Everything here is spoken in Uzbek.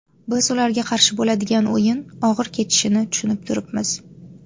Biz ularga qarshi bo‘ladigan o‘yin og‘ir kechishini tushunib turibmiz.